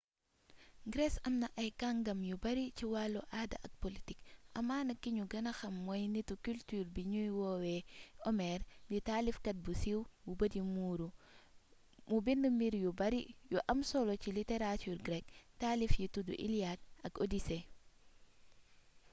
grece amna kàngam yu bari ci wàllu aada ak politique amaana ki ñu gëna xam mooy nitu culture bii ñuy woowe homère di taalifkat bu siiw bu bët yi muuru mu bind mbir yu bari yu am solo ci littérature grecque taalif yi tudd iliade ak odyssée